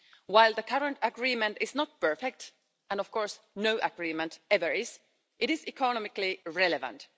While the current agreement is not perfect and of course no agreement ever is it is economically relevant.